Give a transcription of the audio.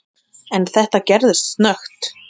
En þetta gerðist snöggt.